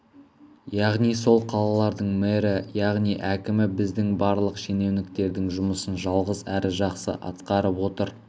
яғни сол қалалардың мэрі яғни әкімі біздің барлық шенеуніктердің жұмысын жалғыз әрі жақсы атқарып отыр